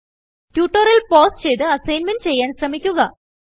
tutorial pause ചെയ്ത് assignment ചെയ്യാൻ ശ്രമിക്കുക